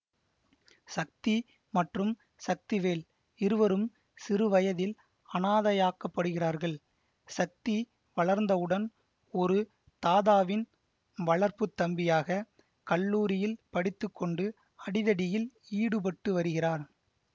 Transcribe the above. சக்தி மற்றும் சக்திவேல் இருவரும் சிறுவயதில் அனாதையாக்கப்படுகிறார்கள் சக்தி வளர்ந்தவுடன் ஒரு தாதாவின் வளர்ப்பு தம்பியாக கல்லூரியில் படித்து கொண்டு அடிதடியில் ஈடுபட்டு வருகிறார்